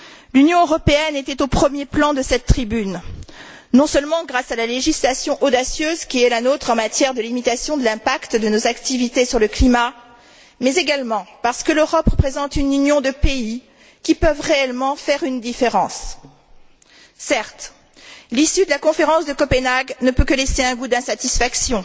L'Union européenne était au premier plan de cette tribune, non seulement grâce à la législation audacieuse qui est la nôtre en matière de limitation de l'impact de nos activités sur le climat, mais également parce que l'Europe représente une union de pays qui peut réellement faire une différence. Certes, l'issue de la Conférence de Copenhague ne peut que laisser un goût d'insatisfaction,